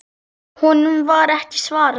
Honum var ekki svarað.